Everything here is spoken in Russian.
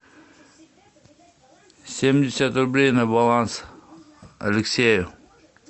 семьдесят рублей на баланс алексею